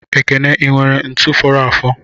Ekene inwere ntu foro afo?